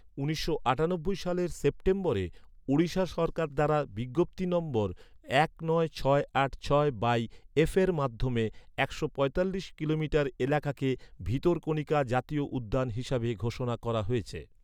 উনিশশো আটানব্বই সালের সেপ্টেম্বরে ওড়িশা সরকার দ্বারা বিজ্ঞপ্তি নম্বর এক নয় ছয় আট ছয় বাই এফের মাধ্যমে একশো পঁয়তাল্লিশ কিলোমিটার এলাকাকে ভিতরকণিকা জাতীয় উদ্যান হিসাবে ঘোষণা করা হয়েছে।